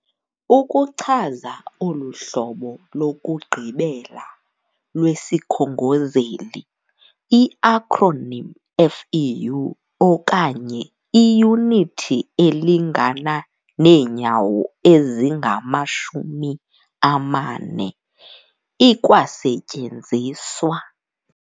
Ukuchaza olu hlobo lokugqibela lwesikhongozeli, i-akronim FEU, okanye "iyunithi elingana neenyawo ezingamashumi amane", ikwasetyenziswa.